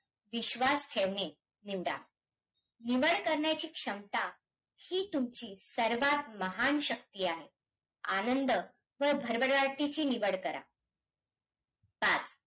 किंवा पूर्ण आपल्या अ राज्यांसाठी भारतीय संविदान घटना दुरुस्ती त्र्याहत्तरव्या घटना दुरुस्तीने